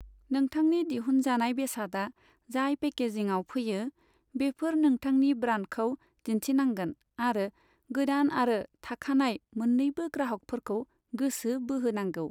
नोंथांनि दिहुनजानाय बेसादा जाय पेकेजिंआव फैयो, बेफोर नोंथांनि ब्रान्डखौ दिन्थिनांगोन आरो गोदान आरो थाखानाय मोननैबो ग्राहकफोरखौ गोसो बोहोनांगौ।